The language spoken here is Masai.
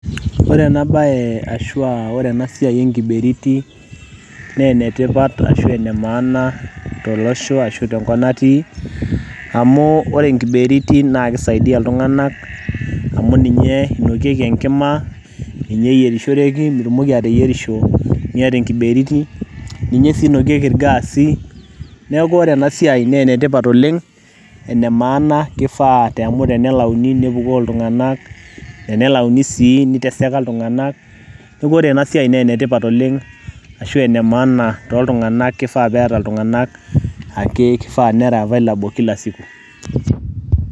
Ore ena bae ashua ore enasiai enkiberiti, naa enetipat ashu emaana tolosho ashu tenkop natii, amu ore enkiberiti na kisaidia iltung'anak amu ninyo inokieki enkima, ninye eyierishoreki mitumoki ateyierisho miata enkiberiti, ninye si inokieki irgaasi, neeku ore enasiai ne enetipat oleng', emaana kifaa amu tenelauni nepukoo iltung'anak, enelauni sii, niteseka iltung'anak, neeku ore enasiai ne enetipat oleng', ashu enemaana toltung'anak, kifaa peeta iltung'anak ake, kifaa nera available kila siku.